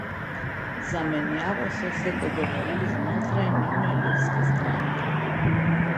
Za menjavo so se dogovorili znotraj njune ljudske stranke.